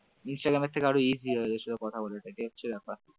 Instagram থেকে আরও easy কথা বলতে সেটা হচ্ছে ব্যাপার ।